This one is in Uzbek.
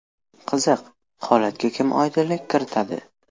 Qiziq, holatga kim oydinlik kiritadi?